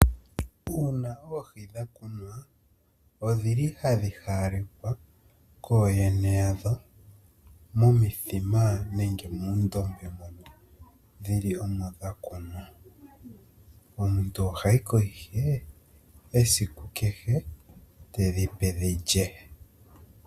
Uuna oohi dha kunwa, odhili hadhi haalekwa kooyene yadho momithima nenge muundombe mono dhili dha kunwa. Omuntu ohayi ko ihe esiku kehe tedhipe dhi lye.